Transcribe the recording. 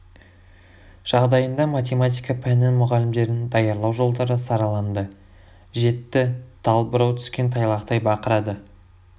жағдайында математика пәнінің мұғалімдерін даярлау жолдары сараланды жетті тал бұрау түскен тайлақтай бақырады